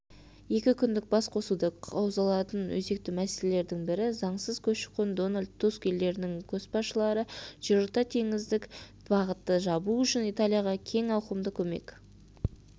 екі күндік басқосуда қаузалатын өзекті мәселелердің бірі заңсыз көші-қон дональд туск елдерінің көшбасшылары жерорта теңіздік бағытты жабу үшін италияға кең ауқымда көмек